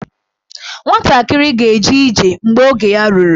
Nwatakịrị ga-eje ije mgbe oge ya ruru.